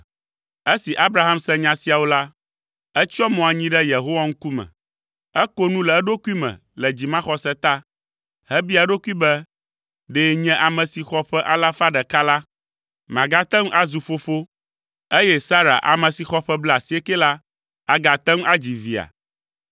Esi Abraham se nya siawo la, etsyɔ mo anyi ɖe Yehowa ŋkume. Eko nu le eɖokui me le dzimaxɔse ta, hebia eɖokui be, “Ɖe nye ame si xɔ ƒe alafa ɖeka la, magate ŋu azu fofo, eye Sara ame si xɔ ƒe blaasiekɛ la agate ŋu adzi via?”